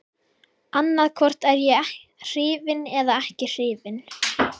Annaðhvort er ég hrifinn eða ekki hrifinn.